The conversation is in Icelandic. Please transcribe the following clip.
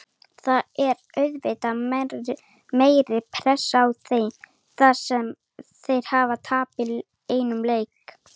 Það er auðvitað meiri pressa á þeim þar sem þeir hafa tapað einum leik.